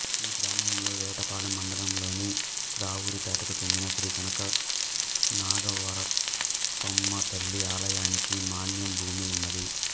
ఈ గ్రామములో వేటపాలెం మండలంలోని రావూరిపేటకు చెందిన శ్రీ కనకనాగవరపమ్మ తల్లి ఆలయానికి మాన్యం భూమి ఉన్నది